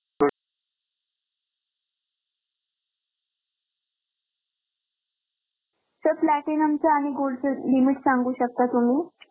Sir platinum च आणि gold च limit सांगू शकता तुम्ही?